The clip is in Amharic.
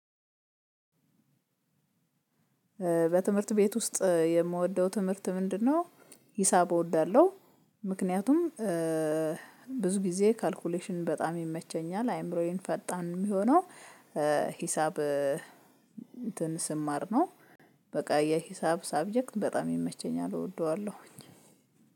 በትምህርት ቤት ውስጥ የምወደው ትምህርት ምንድነው፤ ሂሳብ እወዳለሁ። ምክንያቱም ብዙ ጊዜ ካልኩሌሽን በጣም ይመቸኛል አይምሮዬን ፈጣን የሚሆነው ሂሳብ እንትን ስማር ነው በቃ የሂሳብ ሳብጀክት በጣም ይመቸኛል እወደዋለው